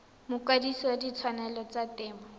mokwadise wa ditshwanelo tsa temo